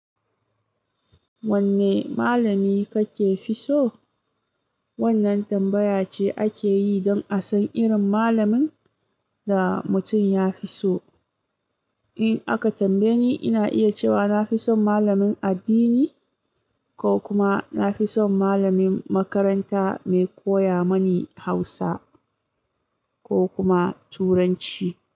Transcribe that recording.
Wanne malami kake fi so? Wannan tambaya ce ake yi don a san irin malamin da mutum ya fi so. In aka tambaye ni, ina iya cewa na fi son malamin addini ko kuma na fi son malamin makaranta mai koya mani Hausa ko kuma Turanci.